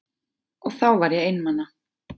Og þá var ég einmana.